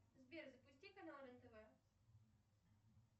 сбер запусти канал рен тв